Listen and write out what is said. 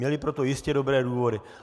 Měli proto jistě dobré důvody.